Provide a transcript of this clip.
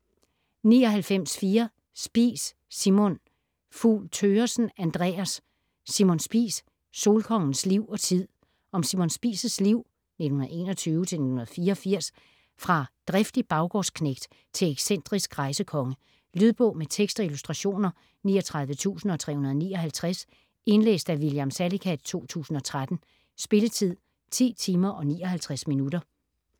99.4 Spies, Simon Fugl Thøgersen, Andreas: Simon Spies: solkongens liv og tid Om Simon Spies' liv (1921-1984) fra driftig baggårdsknægt til excentrisk rejsekonge. Lydbog med tekst og illustrationer 39359 Indlæst af William Salicath, 2013. Spilletid: 10 timer, 59 minutter.